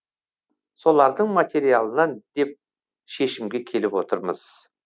солардың материалынан деп шешімге келіп отырмыз